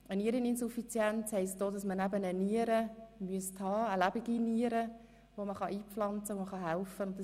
Eine Niereninsuffizienz bedeutet auch, dass man eine Niere bräuchte, die eingepflanzt werden kann und somit helfen kann.